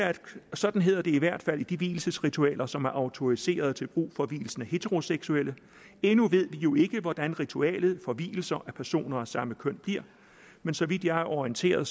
sådan hedder det i hvert fald i de vielsesritualer som er autoriserede til brug for vielsen af heteroseksuelle endnu ved vi jo ikke hvordan ritualet for vielser af personer af samme køn bliver men så vidt jeg er orienteret